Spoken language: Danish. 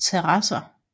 terasser